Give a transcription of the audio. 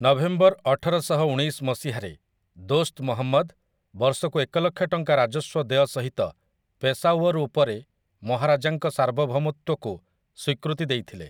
November ଅଠରଶହଉଣେଇଶ ମସିହାରେ, ଦୋସ୍ତ୍ ମହମ୍ମଦ୍, ବର୍ଷକୁ ଏକ ଲକ୍ଷ ଟଙ୍କା ରାଜସ୍ୱ ଦେୟ ସହିତ, ପେଶାୱର୍ ଉପରେ ମହାରାଜାଙ୍କ ସାର୍ବଭୌମତ୍ୱକୁ ସ୍ୱୀକୃତି ଦେଇଥିଲେ ।